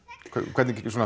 hvernig